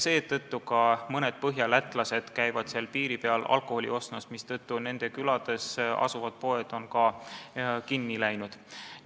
Seetõttu käivad ka mõned põhjalätlased piiri peal alkoholi ostmas, mistõttu nendes külades asuvad poed on kinni läinud.